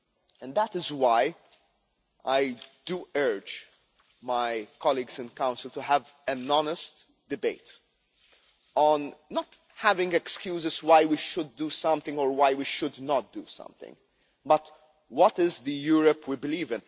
And that is why I urge my colleagues in the Council to have an honest debate, without making excuses about why we should do something or why we should not do something, but about what kind of Europe we believe.